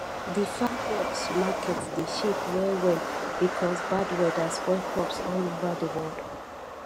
di farm products market dey shake well well because bad weather spoil crops all over di world